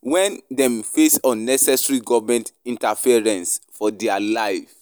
wen dem face unnecessary government interference for dia life.